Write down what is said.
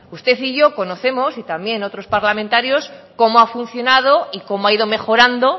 usted y yo conocemos y también otros parlamentarios cómo ha funcionado y cómo ha ido mejorando